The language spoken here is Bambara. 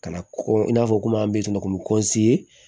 Ka na kɔ i n'a fɔ komi an bɛ sunɔgɔ k'u bɛ